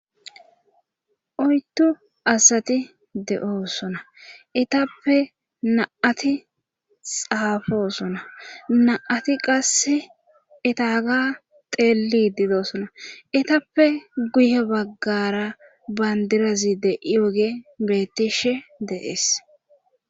oydu asati de7oosona etappe naati xaafosona na7ati qasse etaaga teeli didoosona etappe guye baggara bandirazi de yooge biretishe de7ees